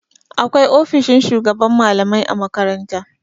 Akwai ofishin shugaban malamai a makaranta.